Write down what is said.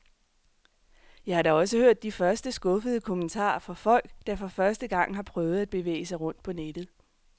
Jeg har da også hørt de første skuffede kommentarer fra folk, der for første gang har prøvet at bevæge sig rundt på nettet.